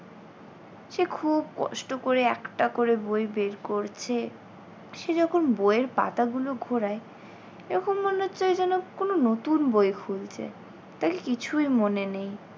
সে খুব কষ্ট করে একটা করে বই বের করছে। সে যখন বইয়ের পাতাগুলো ঘোরায় এরকম মনে হচ্ছে যেন কোনো নতুন বই খুলছে তাকে কিছুই মনে নেই।